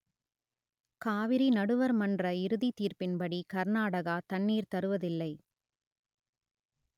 காவிரி நடுவர் மன்ற இறுதி தீர்ப்பின்படி கர்நாடகா தண்ணீர் தருவதில்லை